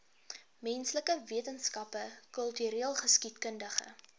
menslike wetenskappe kultureelgeskiedkundige